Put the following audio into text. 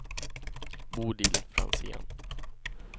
Bodil Franzén